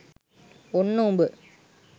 ඔන්න උඹ